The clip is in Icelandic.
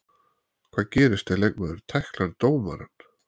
Hvað gerist ef leikmaður tæklar dómarann?